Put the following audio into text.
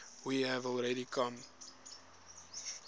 we have already come